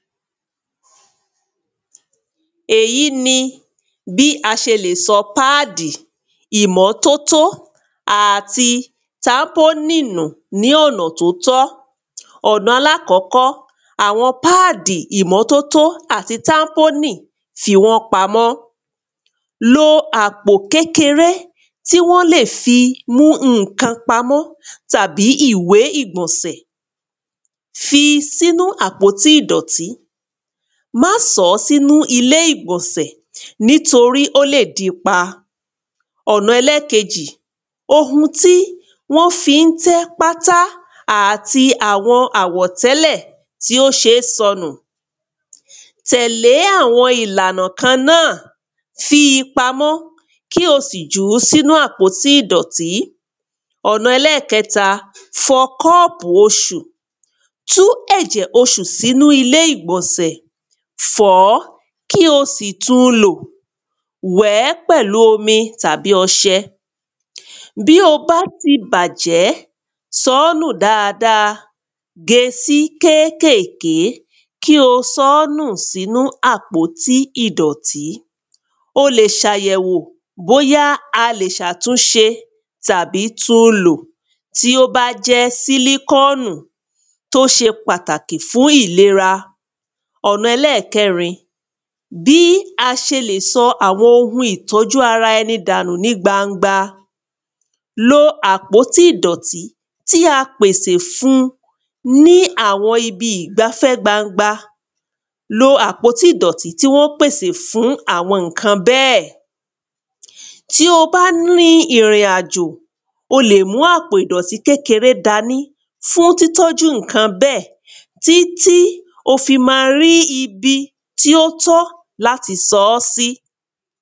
èyí ni bí a ṣe lè sọ páàdì ìmọ́tótó àti tápòònì nù ní ọ̀nà tó tọ́ ọ̀nà àkọ́kọ́ àwọn páàdi àti tápónì fi wọ́n pamó lo àpò kékeré tí wọ́n lè fi mú ǹkan pamọ́ tàbí ìwé ìgbọ̀nsẹ̀ fí sínu àpótí ìdọ̀tí má sọ ọ́ sínu àpótí ìgbọ̀nsẹ̀ nítorí ó lè díi pa ọ̀nà ẹlẹ́ẹ̀kejì ohun tí wọ́n fi ń tẹ́ pátá àti àwọn àwọ̀tẹ́lẹ̀ tí ò ṣe é sọnù tẹ̀lẹ́ àwọn ìlànà kan náà, fi pamọ́ kí o sì jù ú sí inú àpótí ìdọ̀tí ẹ̀kẹta fọ kọ́ọ̀pù oṣù, tú ẹ̀jẹ̀ oṣù sínu ilé ìgbọ̀nsẹ̀, fọ̀ ọ́, kí o sì tún lò ó, wẹ̀ẹ́ pẹ̀lu omi tàbí ọsẹ bí ó bá ti bàjẹ́ sọ ọ́ nù dáadáa, gée sí kékèké kí o sọ ọ́ nù sínu àpótí ìdọ̀tí o lè ṣàyẹ̀wò bóyá a lè ṣàtúnṣe, tàbí tún un lò tí ó bá jẹ́ sílíkọ́ọ̀nù tí ó ṣe pàtàkì fún ìlera tí ó ṣe pàtàkì fún ìlera ẹlẹ́ẹ̀kẹrin bí a ṣe lè sọ àwọn ohùn ìtọ́jú ará ẹní dànù ní gbangba lo àpótí ìdọtí ti a pèsè fún ní àwọn ibi ìgbafẹ́ gbangba, lo àpótí ìdọ̀tí tí wọ́n pèsè fún àwọn ǹkan bẹ́ẹ̀ tí o bá ní ìrìn àjò o le mú àpò ìdọ̀tí kékeré dání fún títọ́jú ǹkan bẹ́ẹ̀ títí ó fi máa rí ibi tí ó tọ́ láti sọ ọ́ sí